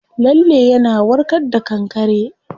Lalle yana warka da kankare.